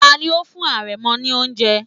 Tani ó fún àrẹ̀mọ ní oúnjẹ?